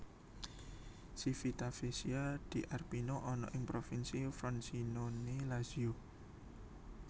Civitavecchia di Arpino ana ing Provinsi Frosinone Lazio